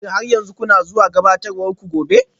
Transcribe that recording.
Shin har yanzu kuna zuwa gabatarwar ku gobe?